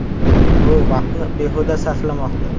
U vaqtni behuda sarflamoqda.